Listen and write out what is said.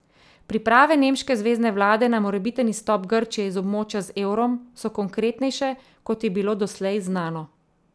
Priprave nemške zvezne vlade na morebiten izstop Grčije iz območja z evrom so konkretnejše, kot je bilo doslej znano.